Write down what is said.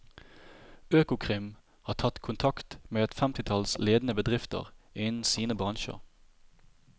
Økokrim har tatt kontakt med et femtitall ledende bedrifter innen sine bransjer.